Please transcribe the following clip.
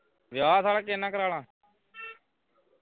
ਵਿਆਹ ਸਾਲਿਆ ਕਿਸ ਨਾਲ ਕਰਵਾ ਲਵਾਂ